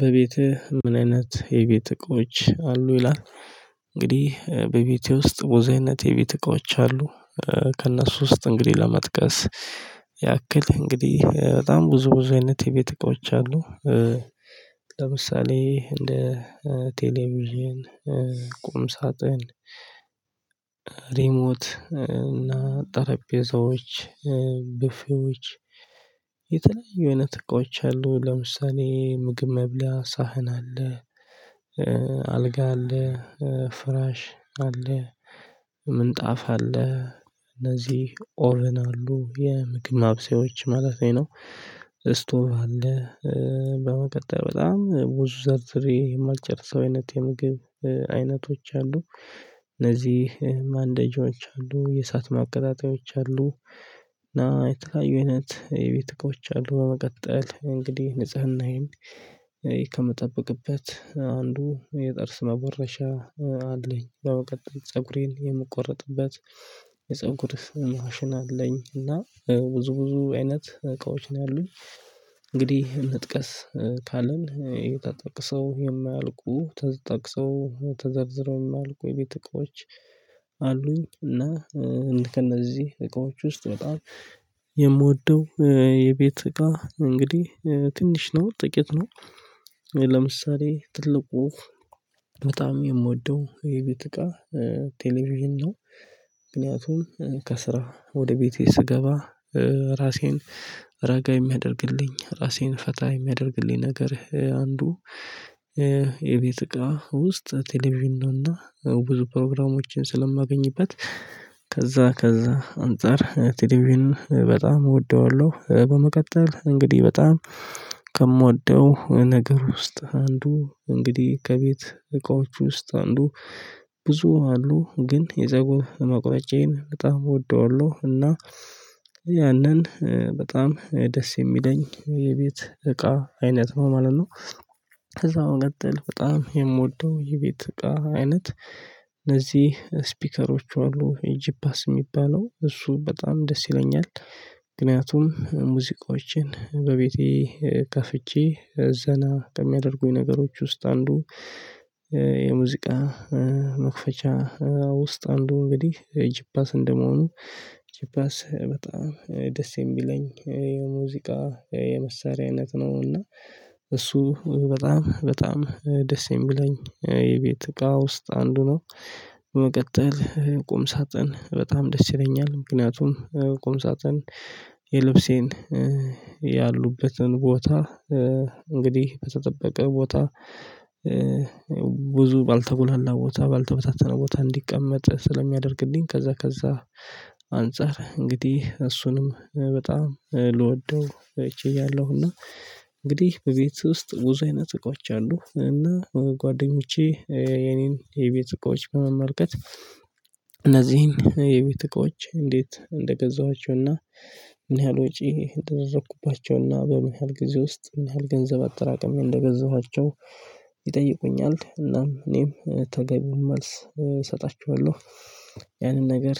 በቤትህ ምን አይነት የቤት እቃዎች አሉ ይላል? እንግዲህ በቤቴ ውስጥ ብዙ አይነት የቤት እቃዎች አሉ። ከእነሱ ውስጥ እንግዲህ ለመጥቀስ ያክል እንግዲህ በጣም ብዙ ብዙ አይነት የቤት እቃዎች አሉ። ለምሳሌ እንደ ቴሌቪዥን ቁም ሳጥን ሪሞት እና ጠረጴዛዎች ብፍዮች የተለያዩ አይነት እቃዎች አሉ ለምሳሌ ምግብ መብላ ሳህን አለ። አልጋ አለ ፍራሽ አለ ምንጣፍ አለ እነዚህ ኦርን አሉ የምግብ ማብሰዮች ማለት ነው። ስቶር አለ። በመቀጠል በጣም ብዙ ዘርዝሬ የማልጨርሰው አይነት የምግብ አይነቶች አሉ። እነዚህ ማንደጃዎች አሉ የእሳት ማቀጣጣያዎች አሉ። እና የተለያዩ አይነት የቤት እቃዎች አሉ በመቀጠል እንግዲህ ንጽህናዬን ከምጠብቅበት አንዱ የጥርስ መቦረሻ አለኝ። በመቀጠል ፀጉሬን የምቆርጥበት የፀጉር ማሽን አለኝ። እና ብዙ ብዙ አይነት እቃዎች ነው ያሉኝ። እንግዲህ መጥቀስ ካልን ተጠቅሰው የማያልቁ ተጠቅሰው ተዘርዝረው የማያልቁ የቤት እቃዎች አሉኝ። እና ከእነዚህ እቃዎች ውስጥ በጣም የምወደው የቤት እቃ እንግዲህ ትንሽ ነው ጥቂት ነው። ለምሳሌ ትልቁ በጣም የምወደው የቤት እቃ ቴሌቪዥን ነው። ምክንያቱም ከስራ ወደ ቤቴ ስገባ ራሴን ረጋ የሚያደርግልኝ ራሴን ፈታ የሚያደርግልኝ ነገር አንዱ። የቤት እቃ ውስጥ ቴሌቪዥን ነው እና ብዙ ፕሮግራሞችን ስለማገኝበት ከዛ ከዛ አንፃር ቴሌቪዥን በጣም እወደዋለሁ። በመቀጠል እንግዲህ በጣም ከምወደው ነገር ውስጥ አንዱ እንግዲህ ከቤት እቃዎች ውስጥ አንዱ ብዙ አሉ ግን የዘጎ መቁረጫዬን በጣም እወደዋለሁ። እና ያንን በጣም ደስ የሚለኝ የቤት እቃ አይነት ማለት ነው። ከዛው በመቀጥል በጣም የምወደው የቤት እቃ አይነት ለዚህ ስፒከሮች አሉ ጂፓስ የሚባለው እሱ በጣም ደስ ይለኛል። ምክንያቱም ሙዚቃዎችን በቤቴ ከፍቼ ዘና ከሚያደርጉኝ ነገሮች ውስጥ አንዱ የሙዚቃ መክፈቻ ውስጥ አንዱ እንግዲህ ጂፓስ እንደመሆኑ ጂፓስ በጣም ደስ የሚለኝ የሙዚቃ የመሳሪያ አይነት ነው። እና እሱ በጣም በጣም ደስ የምለኝ የቤት እቃ ውስጥ አንዱ ነው። በመቀጠል ቁም ሳጥን በጣም ደስ ይለኛል። ምክንያቱም ቁም ሳጥን የልብሴን ያሉበትን ቦታ እንግዲህ በተጠበቀ ቦታ ብዙ ባልተጎላላ ቦታ ባልተበታተነ ቦታ እንዲቀመጥ ስለሚያደርግልኝ ከዛ ከዛ አንፃር እንግዲህ እሱንም በጣም ልወደው ችያለሁ። እና እንግዲህ በቤት ውስጥ ብዙ አይነት እቃዎች አሉ እና ጓደኞቼ የኔን የቤት እቃዎች በመመልከት እነዚህን የቤት እቃዎች እንዴት እንደገዛኋቸውና ምን ያህል ወጪ እንደደረኩባቸውና በምን ያህል ጊዜ ውስጥ ምን ያህል ገንዘብ አጠራቅም እንደገዛኋቸው ይጠይቁኛል እናም እኔም ተገቢውን መልስ እሰጣችኋለሁ። ያንን ነገር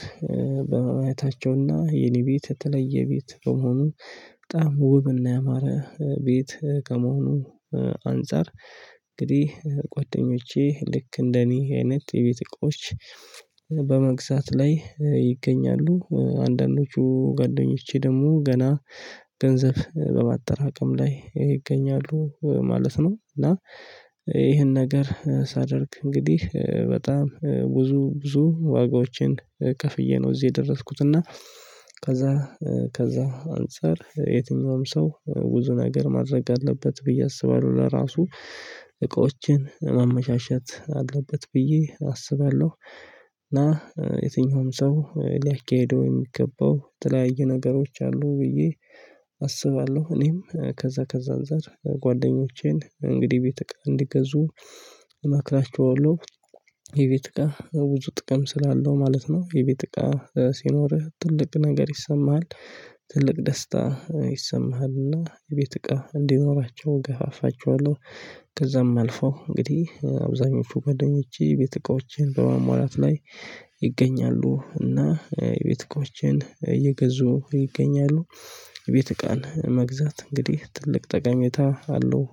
በማየታቸውና የኔ ቤት የተለየ ቤት በመሆኑ በጣም ውብና ያማረ ቤት ከመሆኑ አንፃር እንግዲህ ጓደኞቼ ልክ እንደኔ አይነት የቤት እቃዎች በመግዛት ላይ ይገኛሉ አንዳንዶቹ ጓደኞቼ ደግሞ ገና ገንዘብ በማጠራቀም ላይ ይገኛሉ ማለት ነው። እና ይህን ነገር ሳደርግ እንግዲህ በጣም ብዙ ብዙ ዋጋዎችን ከፍዬ ነው እዚህ የደረስኩት እና ከዛ ከዛ አንፃር የትኛውም ሰው ብዙ ነገር ማድረግ አለበት ብዬ አስባለሁ ለራሱ እቃዎችን ማመሻሸት አለበት ብዬ አስባለሁ። እና የትኛውም ሰው ሊያካሂደው የሚገባው የተለያዩ ነገሮች አሉ ብዬ አስባለሁ እኔም ከዛ ከዛ አንፃር ጓደኞቼን እንግዲህ ቤት እቃ እንዲገዙ እመክራቸዋለሁ። የቤት እቃ ብዙ ጥቅም ስላለው ማለት ነው የቤት እቃ ሲኖርህ ትልቅ ነገር ይሰማሃል። ትልቅ ደስታ ይሰማሃልና የቤት እቃ እንዲኖራቸው ገፋፋቸዋለሁ። ከዛም አልፈው እንግዲህ አብዛኞቹ ገደኞቼ የቤት እቃዎችን በአሟላት ላይ ይገኛሉ እና የቤት እቃዎችን እየገዙ ይገኛሉ። የቤት እቃን መግዛት እንግዲህ ትልቅ ጠቃሜታ አለው